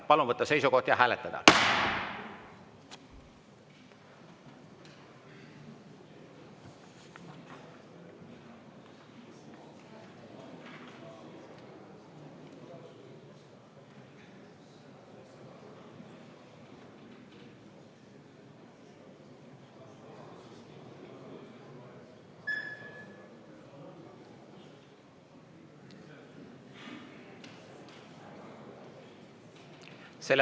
Palun võtta seisukoht ja hääletada!